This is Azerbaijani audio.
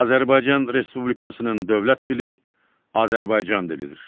Azərbaycan Respublikasının dövlət dili Azərbaycan dilidir.